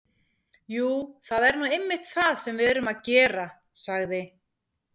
Jú, það er nú einmitt það sem við erum að gera- sagði